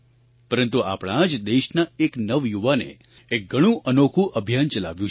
પરંતુ આપણા જ દેશના એક નવયુવાને એક ઘણું અનોખું અભિયાન ચલાવ્યું છે